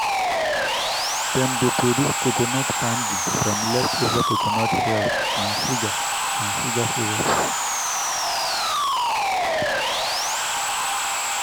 dem dey produce coconut candy from leftover coconut shells and sugar and sugar syrup.